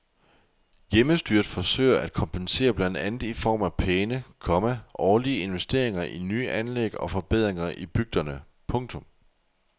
Hjemmestyret forsøger at kompensere blandt andet i form af pæne, komma årlige investeringer i nye anlæg og forbedringer i bygderne. punktum